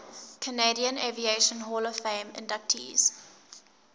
canadian aviation hall of fame inductees